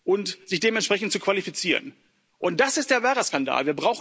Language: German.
zu werden, und sich dementsprechend zu qualifizieren. Das ist der wahre